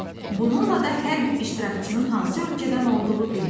Bununla da hər bir iştirakçının hansı ölkədən olduğu bilinir.